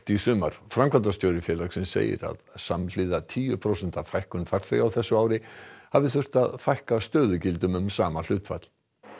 í sumar framkvæmdastjóri félagsins segir að samhliða tíu prósenta fækkun farþega á þessu ári hafi þurft að fækka stöðugildum um sama hlutfall